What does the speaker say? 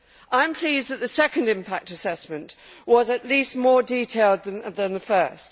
I am pleased that the second impact assessment was at least more detailed than the first.